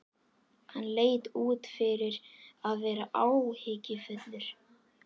Hann leit út fyrir að vera áhyggjufullur.